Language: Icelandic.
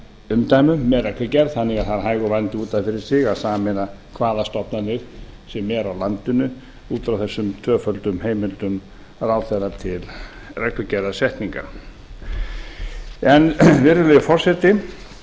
umdæmi með reglugerð þannig að það er hægur vandi út af fyrir sig að sameina hvaða stofnanir sem er á landinu út frá þessum tvöföldu heimildum ráðherra til reglugerðarsetningar virðulegi forseti